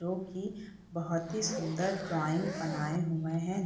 जो की बहुत ही सुंदर ड्राइंग बनाए हुए हैं।